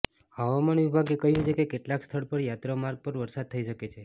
હવામાન વિભાગે કહ્યુ છે કે કેટલાક સ્થળ પર યાત્રા માર્ગ પર વરસાદ થઇ શકે છે